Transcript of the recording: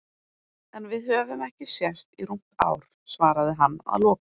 En við höfum ekki sést í rúmt ár, svaraði hann að lokum.